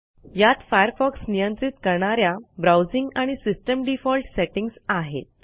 यात Firefoxनियंत्रित करणा या ब्राऊजिंग आणि सिस्टीम डिफॉल्ट सेटिंग्ज आहेत